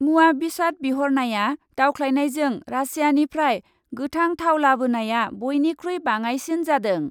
मुवा बेसाद बिहरनाया दावख्लायनायजों रासियानिफ्राय गोथां थाव लाबोनाया बयनिखुइ बाङाइसिन जादों।